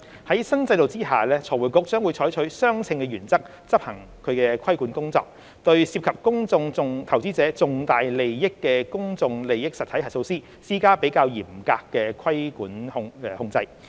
在新制度下，財匯局將會採取相稱原則執行其規管工作，對涉及公眾投資者重大利益的公眾利益實體核數師施加較嚴格的規管控制。